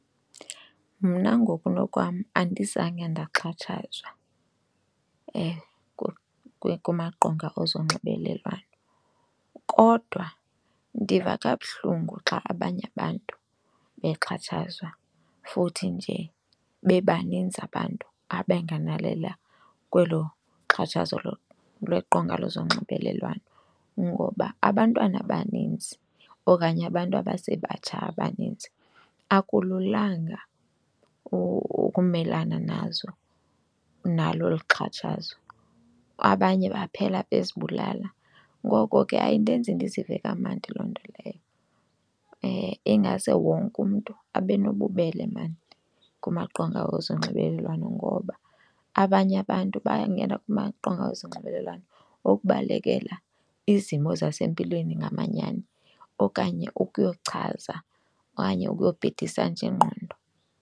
Mna ngokunokwam andizange ndaxhatshazwa kumaqonga ezonxibelelwano kodwa ndiva kabuhlungu xa abanye abantu bexhatshazwa futhi nje bebaninzi abantu abangenelela kwelo xhatshazo lweqonga lezonxibelelwano. Ngoba abantwana abanintsi okanye abantu abasebatsha abaninzi akululanga ukumelana nazo, nalo olu xhatshazo abanye baphela bezibulala, ngoko ke ayindenzi ndizive kamandi loo nto leyo. Ingase wonke umntu abe nobubele maan kumaqonga ezonxibelelwano ngoba abanye abantu bayangena kumaqonga ezonxibelelwano okubalekela izimo zasempilweni ngamanyani okanye ukuyochaza okanye ukuyobhidisa nje ingqondo.